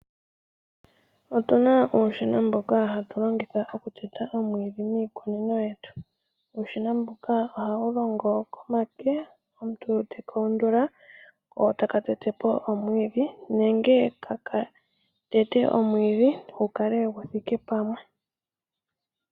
Otu na uushina mboka hatu longitha omwiidhi miikunino yetu. Uushina mbuka ohawu longo komake, omuntu te ka undula ko taka tete po omwiidhi nenge taka tete omwiidhi gu kale gu thike pamwe.